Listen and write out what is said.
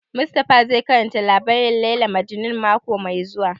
Mustapha zai karanta labarin Layla Majnun mako mai zuwa